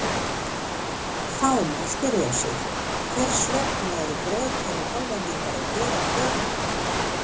Þá má spyrja sig: Hvers vegna eru Bretar og Hollendingar að gera kröfuna?